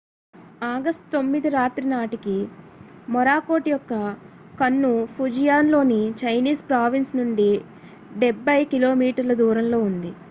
August 9 రాత్రి నాటికి Morakot యొక్క కన్ను ఫుజియాన్ లోని చైనీస్ ప్రావిన్స్ నుండి డెబ్బై కిలోమీటర్ల దూరంలో ఉంది